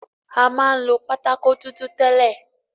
A ma ń lo pátákó dúdú tęlẹ̀.